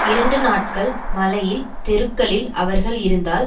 இரண்டு நாட்கள் மழையில் தெருக்களில் அவர்கள் இருந்தால்